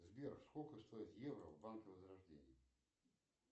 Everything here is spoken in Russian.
сбер сколько стоит евро в банке возрождение